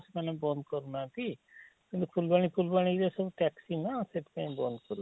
ମାନେ ବନ୍ଦ କରୁ ନାହାନ୍ତି କିନ୍ତୁ ଫୁଲବାଣୀ ଫୁଲବାଣୀ ରେ ସବୁ taxi ନା ସେଥି ପାଇଁ ବନ୍ଦ କରୁଛନ୍ତି?